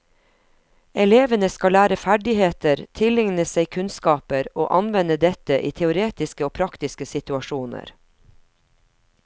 Elevene skal lære ferdigheter, tilegne seg kunnskaper og anvende dette i teoretiske og praktiske situasjoner.